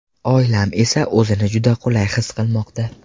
Oilam esa o‘zini juda qulay his qilmoqda.